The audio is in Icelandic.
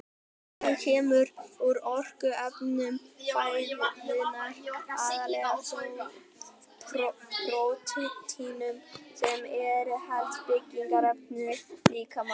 Orkan kemur úr orkuefnum fæðunnar, aðallega þó prótínum sem eru helstu byggingarefni líkamans.